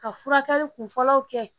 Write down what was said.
Ka furakɛli kun fɔlɔw kɛ